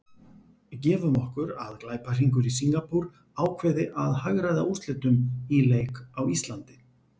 Gefum okkur að glæpahringur í Singapúr ákveði að hagræða úrslitum í leik á Íslandi.